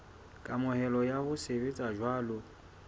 kamohelo ya ho sebetsa jwalo